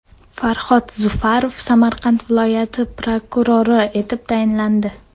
Farhod Zufarov Samarqand viloyati prokurori etib tayinlandi.